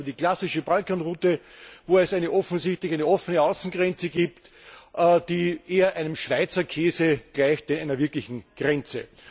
Sie kommen also über die klassische Balkanroute, wo es offensichtlich eine offene Außengrenze gibt, die eher einem Schweizer Käse gleicht denn einer wirklichen Grenze.